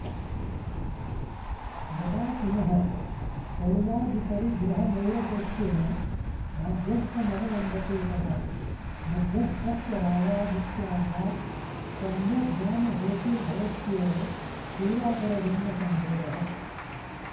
यदा पुनः शरीरादिपरिग्रहनैरपेक्ष्येण माध्यस्थ्यमवलम्बते तदा मध्यस्थस्य रागादित्यागात् सम्यग्ज्ञानहेतुर्भवत्येव पूर्वापरजन्मसम्बोधः